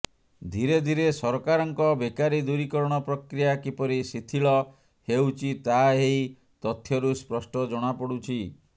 ଧିରେ ଧିରେ ସରକାରଙ୍କ ବେକାରୀ ଦୂରୀକରଣ ପ୍ରକ୍ରିୟା କିପରି ଶିଥିଳ ହେଉଛି ତାହା ଏହି ତଥ୍ୟରୁ ସ୍ପଷ୍ଟ ଜଣାପଡ଼ୁଛି